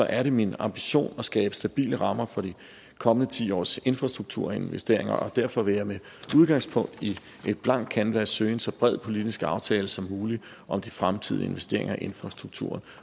er det min ambition at skabe stabile rammer for de kommende ti års infrastrukturinvesteringer og derfor vil jeg med udgangspunkt i et blankt kanvas søge en så bred politisk aftale som muligt om de fremtidige investeringer i infrastrukturen